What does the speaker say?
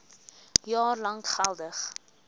jaar lank geldig